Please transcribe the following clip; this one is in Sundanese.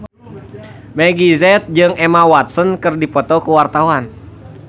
Meggie Z jeung Emma Watson keur dipoto ku wartawan